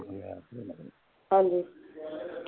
ਹਾਂਜੀ